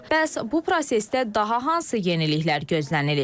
Bəs bu prosesdə daha hansı yeniliklər gözlənilir?